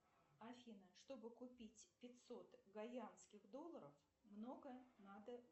афина чтобы купить пятьсот гайянских долларов много надо